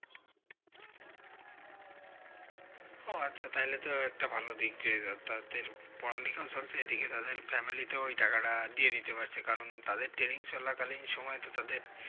ও আচ্ছা তাহলেই তো একটা ভালো দিক রইলো তাদের পড়ালেখাও চলছে এইদিকে তাদের family তেও এই টাকা টা দিয়ে দিতে পারছে কারণ তাদের training চলাকালীন সময় তো তাদের